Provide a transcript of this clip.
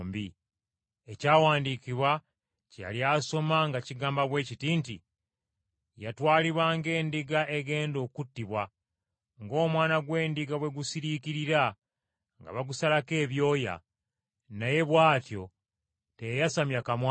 Ekyawandiikibwa kye yali asoma nga kigamba bwe kiti nti: “Yatwalibwa ng’endiga egenda okuttibwa. Ng’omwana gw’endiga bwe gusiriikirira nga bagusalako ebyoya, naye bw’atyo teyayasamya kamwa ke.